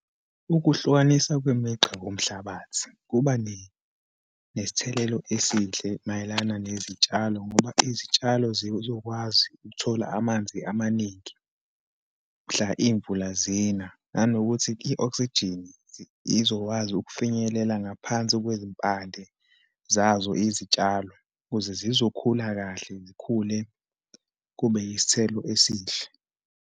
Ukuhlukanisa kwemigqa komhlabathi, kuba nesithelelo esihle mayelana nezitshalo ngoba izitshalo zizokwazi ukuthola amanzi amaningi, mhla iyimvula zina, nanokuthi i-oxygen izokwazi ukufinyelela ngaphansi kwezimpande zazo izitshalo, ukuze zizokhula kahle, zikhule kube isithelo esihle.